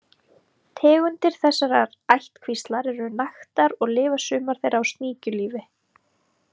Tegundir þessarar ættkvíslar eru naktar og lifa sumar þeirra sníkjulífi.